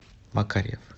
макарьев